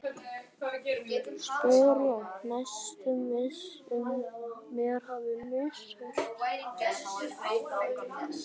spyr ég, næstum viss um mér hafi misheyrst.